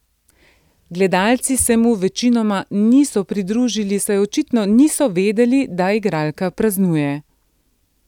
Gledalci se mu večinoma niso pridružili, saj očitno niso vedeli, da igralka praznuje.